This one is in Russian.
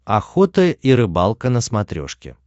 охота и рыбалка на смотрешке